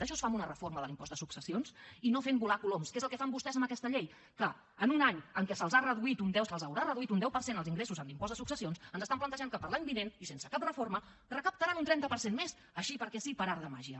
això es fa amb una reforma de l’impost de successions i no fent volar coloms que és el que fan vostès en aquesta llei que en un any en què se’ls reduirà un deu per cent els ingressos en l’impost de successions ens plantegen que per a l’any vinent i sense cap reforma recaptaran un trenta per cent més així perquè sí per art de màgia